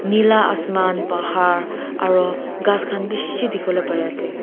nila asman bahar aru ghass khan bishi dikhi wole pari ase.